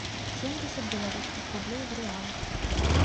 семьдесят белорусских рублей в реалах